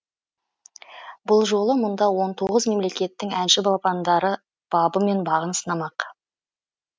бұл жолы мұнда он тоғыз мемлекеттің әнші балапандары бабы мен бағын сынамақ